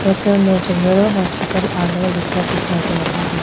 दृश्य में general hospital Alwar लिखकर दिखाई दे रहा है।